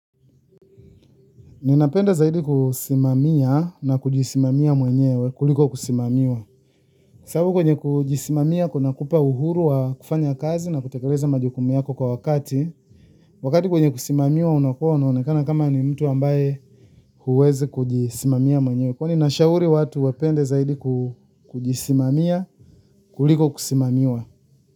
Ninapenda zaidi kusimamia na kujisimamia mwenyewe kuliko kusimamiwa. Sabu kwenye kujisimamia kuna kupa uhuru wa kufanya kazi na kutekeleza majukumi yako kwa wakati. Wakati kwenye kusimamiwa unakua una onekana kama ni mtu ambaye huwezi kujisimamia mwenyewe. Kwahiyo ninashauri watu wapenda zaidi kujisimamia kuliko kusimamiwa.